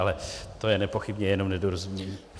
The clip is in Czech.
Ale to je nepochybně jenom nedorozumění.